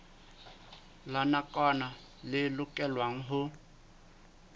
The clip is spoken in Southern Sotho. la nakwana le lokelwang ho